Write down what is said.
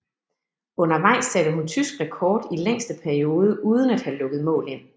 Undervejs satte hun tysk rekord i længste periode uden at have lukket mål ind